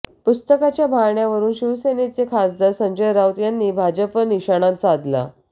पुस्तकाच्या बहाण्यावरून शिवसेनेचे खासदार संजय राऊत यांनी भाजपवर निशाणा साधला